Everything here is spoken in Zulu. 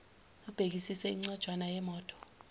ubhekisise incwanjana yemoto